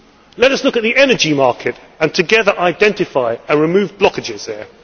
all. Let us look at the energy market and together identify and remove blockages